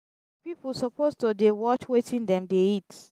people suppose to dey watch wetin dem dey eat.